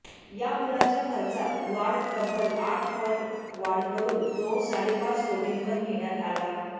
या पुलाच्या खर्चात वाढ तब्बल आठ पट वाढ करून तो साडेपाच कोटींवर नेण्यात आला